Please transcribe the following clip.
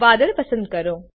વાદળ પસંદ કરો